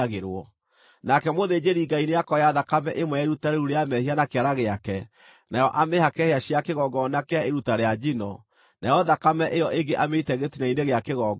Nake mũthĩnjĩri-Ngai nĩakoya thakame ĩmwe ya iruta rĩu rĩa mehia na kĩara gĩake, nayo amĩhake hĩa cia kĩgongona kĩa iruta rĩa njino, nayo thakame ĩyo ĩngĩ amĩite gĩtina-inĩ gĩa kĩgongona.